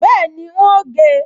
Bẹ́ẹ̀ni, n óò gé e